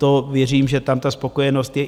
To věřím, že tam ta spokojenost je.